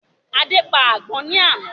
Adé pa àgbọ̀n ni àná